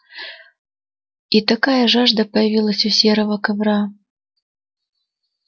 и такая жажда появилась у серого ковра